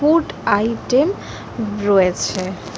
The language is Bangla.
ফুড আইটেম রয়েছে।